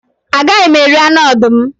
A gaghị m eri anụ ọdụm